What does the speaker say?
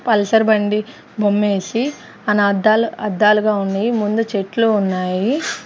Pulsar బండి బొమ్మేసి అని అద్దాలు అద్దాలు గా ఉన్నాయి ముందు చెట్లు ఉన్నాయి.